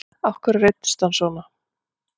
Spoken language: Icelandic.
Af hverju reiddist hann svona?